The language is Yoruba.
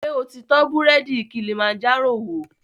Ṣo ti tọ búrẹ́dì Kilimanjaro wò?